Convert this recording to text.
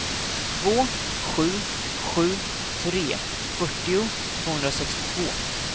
två sju sju tre fyrtio tvåhundrasextiotvå